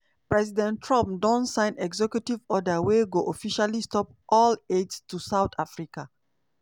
president trump don sign executive order wey go officially stop all aid to south africa.